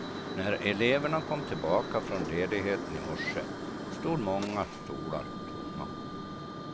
När eleverna kom tillbaka från ledigheten i morse stod många stolar tomma.